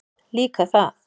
Líka það.